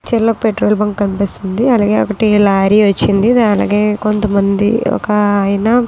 ఇలా petrol bunk కనిపిస్తుంది అలాగే ఒకటి లారీ వచ్చింది కొంతమంది ఒక ఐ--